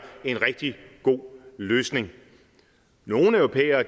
en rigtig god løsning nogle europæere